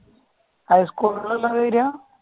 high school എവിടെയാ വരിക